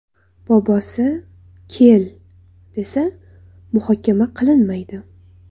Bobosi ‘kel’ desa, muhokama qilinmaydi.